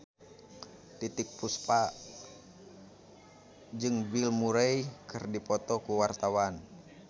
Titiek Puspa jeung Bill Murray keur dipoto ku wartawan